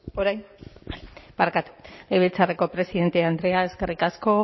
hitza legebiltzarreko presidente andrea eskerrik asko